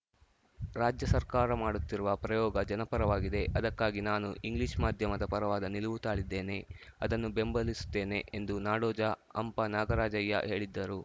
ರಾಜ್ಯ ಸರ್ಕಾರ ಮಾಡುತ್ತಿರುವ ಪ್ರಯೋಗ ಜನಪರವಾಗಿದೆ ಅದಕ್ಕಾಗಿ ನಾನು ಇಂಗ್ಲಿಷ್‌ ಮಾಧ್ಯಮದ ಪರವಾದ ನಿಲುವು ತಾಳಿದ್ದೇನೆ ಅದನ್ನು ಬೆಂಬಲಿಸುತ್ತೇನೆ ಎಂದು ನಾಡೋಜ ಹಂಪ ನಾಗರಾಜಯ್ಯ ಹೇಳಿದ್ದರು